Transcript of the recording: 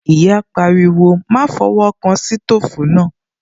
Ìyá pariwo, "Má fọwọ́ kan sítòfù náà"